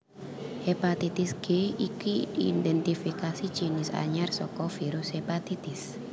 Hepatitis G iki diidentifikasi jinis anyar saka virus hépatitis